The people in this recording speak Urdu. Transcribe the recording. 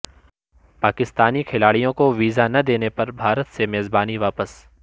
پاکستانی کھلاڑیوں کو ویزا نہ دینے پر بھارت سے میزبانی واپس